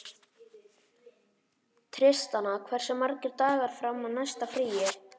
Tristana, hversu margir dagar fram að næsta fríi?